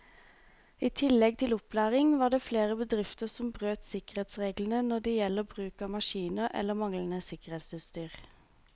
I tillegg til opplæring var det flere bedrifter som brøt sikkerhetsreglene når det gjelder bruk av maskiner eller manglende sikkerhetsutstyr.